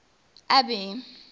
abby